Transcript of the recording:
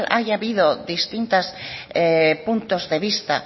haya habido distintos puntos de vista